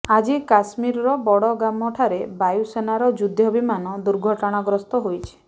ଆଜି କାଶ୍ମୀରର ବଡଗାମଠାରେ ବାୟୁସେନାର ଯୁଦ୍ଧ ବିମାନ ଦୁର୍ଘଟଣାଗସ୍ତ ହୋଇଛି